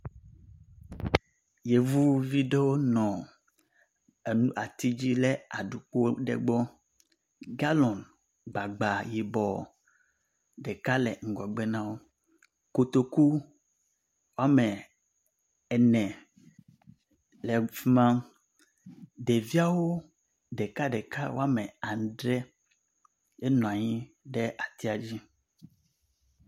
Yevuvi aɖewo nɔ emlɔ ati dzi ɖe aɖukpo aɖe gbɔ. Galɔn gbagba yibɔ ɖeka le ŋgɔgbe na wo. Kotoku wɔme ene le afi ma. Ɖeviawo ɖekaɖeka wɔme adre enɔ anyi ɖe atia dzi.